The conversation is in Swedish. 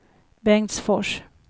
Bengtsfors